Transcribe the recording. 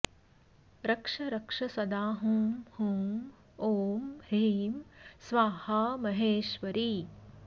रक्ष रक्ष सदा हूं हूं ॐ ह्रीं स्वाहा महेश्वरी